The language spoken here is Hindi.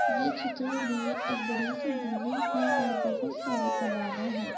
ये चित्र मैं एक बड़ी सी बिल्डिंग है और बहौत सारे कमाना हैं।